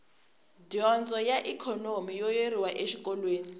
dyondzo a ikhonomi yo yeriwa exikolweni